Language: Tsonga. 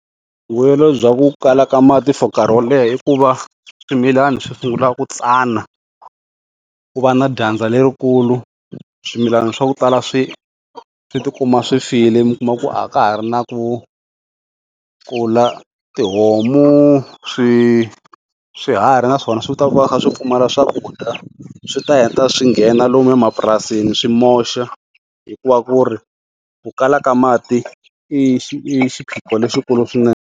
Vuyelo bya ku kala ka mati for nkarhi wo leha i ku va swimilana swi sungula ku tsana, ku va na dyandza lerikulu swimilana swa ku tala swi swi tikuma swi file mi kuma ku a ka ha ri na ku kula tihomu, swi swiharhi na swona swi ta va swi kha pfumala swakudya swi ta heta swi nghena lomu emapurasini swi moxa hikuva ku ri ku kala ka mati i xiphiqo lexikulu .